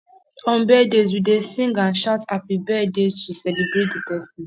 on birthdays we dey sing and shout happy birthday to celebrate the person